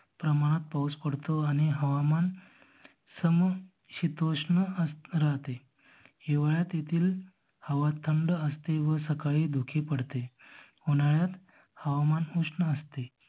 प्रमाणात पाऊस पडतो आणि हवामान सम शीतोष्ण अं राहते. हिवाळ्यात येथील हवा थंड असते व सकाळी धुके पडते. उन्हाळ्यात हवामान उष्ण असते.